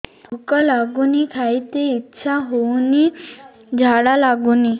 ଭୁକ ଲାଗୁନି ଖାଇତେ ଇଛା ହଉନି ଝାଡ଼ା ଲାଗୁନି